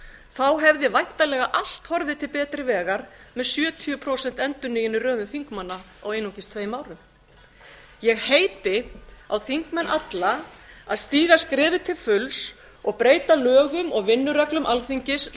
þá hefði væntanlega allt horfið til betri vegar með sjötíu prósent endurnýjun í röðum þingmanna á einungis tveim árum ég heiti á þingmenn alla að stíga skrefið til fulls og breyta lögum og vinnureglum alþingis